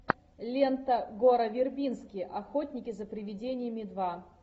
лента гора вербински охотники за привидениями два